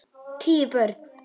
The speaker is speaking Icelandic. Tíu börn.